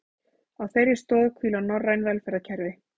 Á þeirri stoð hvíla norræn velferðarkerfi